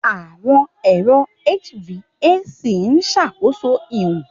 Àwọn ẹ̀rọ HVAC ń ṣàkóso ìwọ̀n